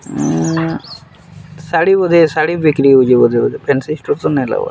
ଉଁ ଶାଢୀ ବୋଧେ ଶାଢୀ ବିକ୍ରି ହଉଛେ ବୋଧେ ବୋଧେ ଫାନ୍ସି ଷ୍ଟୋର୍‌ ତ ନାଇଁ ଲାଗବାର୍‌।